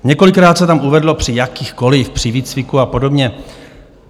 Několikrát se tam uvedlo: při jakýchkoli, při výcviku a podobně.